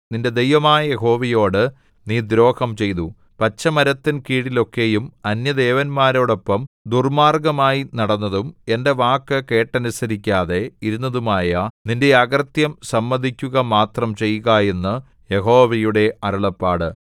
നിന്റെ ദൈവമായ യഹോവയോടു നീ ദ്രോഹം ചെയ്തു പച്ചമരത്തിൻ കീഴിലൊക്കെയും അന്യദേവന്മാരോടൊപ്പം ദുർമ്മാർഗ്ഗമായി നടന്നതും എന്റെ വാക്കു കേട്ടനുസരിക്കാതെ ഇരുന്നതുമായ നിന്റെ അകൃത്യം സമ്മതിക്കുകമാത്രം ചെയ്യുക എന്ന് യഹോവയുടെ അരുളപ്പാട്